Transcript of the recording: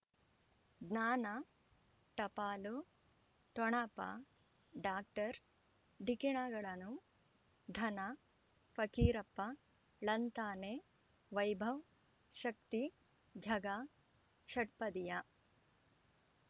ಜ್ಞಾನ ಟಪಾಲು ಠೊಣಪ ಡಾಕ್ಟರ್ ಢಿಕ್ಕಿ ಣಗಳನು ಧನ ಫಕೀರಪ್ಪ ಳಂತಾನೆ ವೈಭವ್ ಶಕ್ತಿ ಝಗಾ ಷಟ್ಪದಿಯ